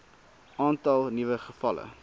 aantal nuwe gevalle